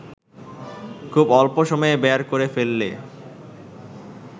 খুব অল্প সময়ে বের করে ফেললে